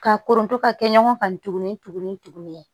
Ka kɔnto ka kɛ ɲɔgɔn kan tuguni